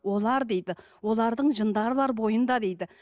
олар дейді олардың жындары бар бойында дейді